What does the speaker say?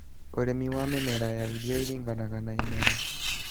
Urĩmi wa mĩmera ya irio ũringanaga na imera